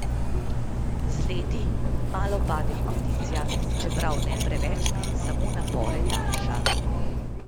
Z leti malo pade kondicija, čeprav ne preveč, samo napore daljša.